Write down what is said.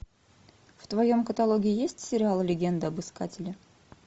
в твоем каталоге есть сериал легенда об искателе